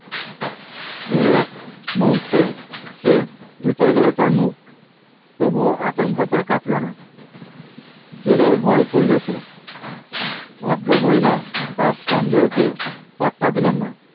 দুই এক মূহুর্তে সে ধুতে গেল তার মুখ তবুও আতঙ্ক তার কাটলো না, জেলের ভয়ে করলো সে ভদ্রমহিলা তার সন্দেহকে পাত্তা দিলেন না